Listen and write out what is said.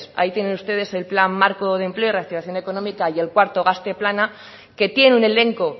ahí tienen ustedes el plan marco de empleo reactivación económica y el cuarto gazte plana que tiene un elenco